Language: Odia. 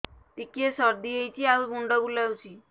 ଟିକିଏ ସର୍ଦ୍ଦି ହେଇଚି ଆଉ ମୁଣ୍ଡ ବୁଲାଉଛି